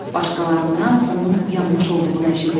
Başqalarından onun yanmış olduğunu eşidirdim.